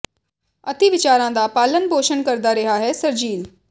ਅਤਿ ਵਿਚਾਰਾਂ ਦਾ ਪਾਲਣ ਪੋਸ਼ਣ ਕਰਦਾ ਰਿਹਾ ਹੈ ਸ਼ਰਜੀਲ